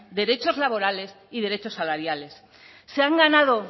derechos laborales y derechos salariales se han ganado